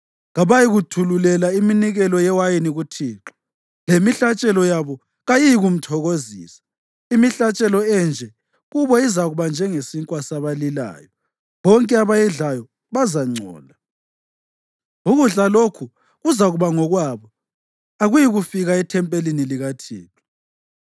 Kabayikuthululela iminikelo yewayini kuThixo, lemihlatshelo yabo kayiyikumthokozisa. Imihlatshelo enje kubo izakuba njengesinkwa sabalilayo; bonke abayidlayo bazangcola. Ukudla lokhu kuzakuba ngokwabo; akuyikufika ethempelini likaThixo.